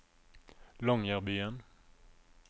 Longyearbyen